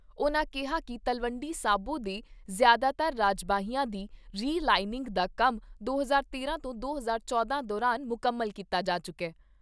ਉਨ੍ਹਾਂ ਕਿਹਾ ਕਿ ਤਲਵੰਡੀ ਸਾਬੋ ਦੇ ਜ਼ਿਆਦਾਤਰ ਰਜਬਾਹਿਆਂ ਦੀ ਰਿ ਲਾਇੰਨਿੰਗ ਦਾ ਕੰਮ ਦੋ ਹਜ਼ਾਰ ਤੇਰਾਂ ਤੋਂ ਦੋ ਹਜ਼ਾਰ ਚੌਂਦਾ ਦੌਰਾਨ ਮੁਕੰਮਲ ਕੀਤਾ ਜਾ ਚੁੱਕਾ ।